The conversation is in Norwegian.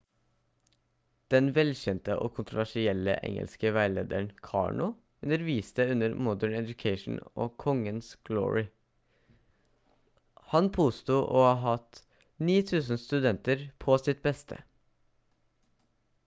den velkjente og kontroversielle engelske veilederen karno underviste under modern education og kongens glory han påsto å ha hatt 9000 studenter på sitt beste